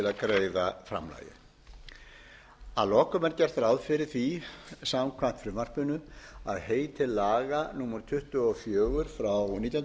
að greiða framlagið að lokum er gert ráð fyrir því samkvæmt frumvarpinu að heiti laga númer tuttugu og fjögur nítján hundruð áttatíu og